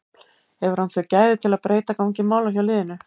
Hefur hann þau gæði til að breyta gangi mála hjá liðinu?